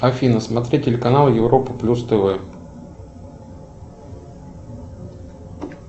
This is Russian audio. афина смотреть телеканал европа плюс тв